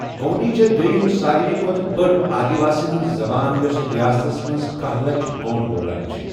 گونٛڈی چھےٚ دویِم سارِوٕے کھۄتہٕ بٔڑآدِوٲسِین ہِنٛز زَبان، یۄسہٕ رِیاستس منٛز کاہَ لَچھ گونٛڈ بولان چھِ ۔